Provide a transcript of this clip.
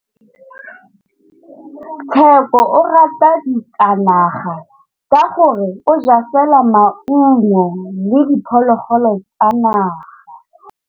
Tshekô o rata ditsanaga ka gore o ja fela maungo le diphologolo tsa naga.